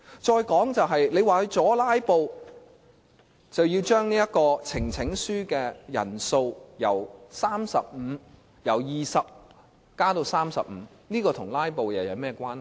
再說，他們說為了阻止"拉布"，便要將呈請書的人數由20人增加至35人，這與"拉布"有何關係？